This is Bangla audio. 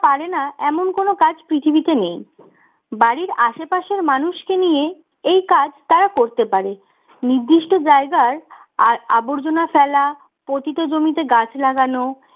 পারে না এমন কোনও কাজ পৃথিবীতে নেই বাড়ির আশেপাশের মানুষকে নিয়ে এই কাজ তারা করতে পারে নির্দিষ্ট জায়গার আর আবর্জনা ফেলা পতিত জমিতে গাছ লাগানো